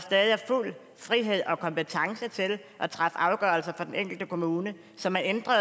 stadig er fuld frihed og kompetence til at træffe afgørelser for den enkelte kommune så man ændrer